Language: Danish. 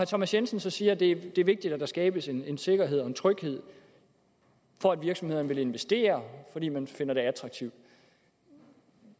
thomas jensen siger at det er vigtigt at der skabes en en sikkerhed og en tryghed for at virksomhederne vil investere fordi man finder det attraktivt